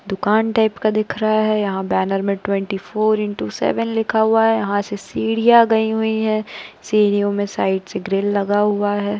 दुकान टाइप का दिख रहा है। यहाँ बैनर में ट्वेंटी फोर इनटू सेवन लिखा हुआ है। यहाँ से सीढ़ियाँ गई हुई हैं सीढ़ियों में साइड से ग्रिल लगा हुआ है।